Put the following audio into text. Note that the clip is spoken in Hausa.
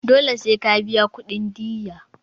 Dole sai ka biya kudin diyya.